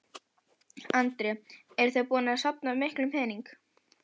Andri: Eruð þið búin að safna miklum pening?